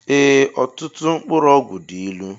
Ee ọtụtụ mkpụrụ ọgwụ dị ịlụ